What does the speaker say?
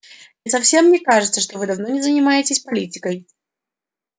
и совсем не кажется что вы давно не занимаетесь политикой